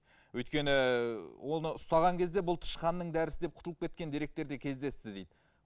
өйткені оны ұстаған кезде бұл тышқанның дәрісі деп құтылып кеткен деректер де кездесті дейді